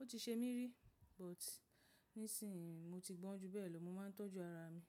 Ó ti ṣe mí rí but nísìnyí mo ti gbọ́n ju bẹ́ẹ̀ lọ, mo máa ń tọ́jú ara mi.